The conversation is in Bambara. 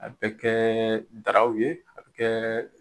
A bɛ kɛɛ daraw ye a bɛ kɛ